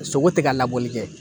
Sogo tɛ ka labɔli kɛ